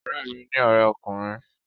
Ọ̀rẹ́ mi ní ọrẹ ọkùnrin